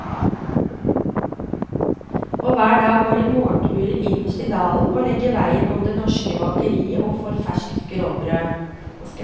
Og hver dag går de morgenturer innerst i dalen og legger veien om det norske bakeriet og får ferskt grovbrød.